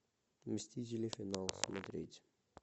мстители финал смотреть